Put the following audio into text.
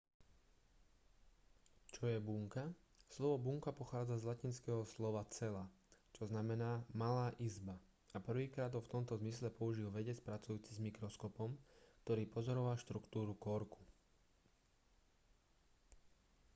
čo je bunka slovo bunka pochádza z latinského slova cella čo znamená malá izba a prvýkrát ho v tomto zmysle použil vedec pracujúci s mikroskopom ktorý pozoroval štruktúru korku